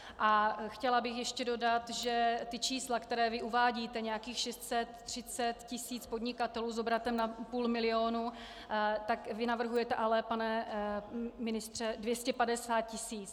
A chtěla bych ještě dodat, že ta čísla, která vy uvádíte, nějakých 630 tisíc podnikatelů s obratem nad půl milionu, tak vy navrhujete ale, pane ministře, 250 tisíc.